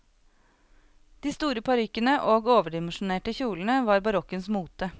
De store parykkene og overdimensjonerte kjolene var barokkens mote.